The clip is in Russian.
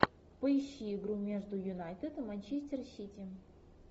поищи игру между юнайтед и манчестер сити